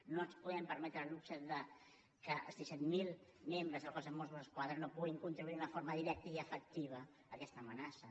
no ens podem permetre el luxe que els disset mil membres del cos de mossos d’esquadra no hi puguin contribuir d’una forma directa i efectiva amb aquesta amenaça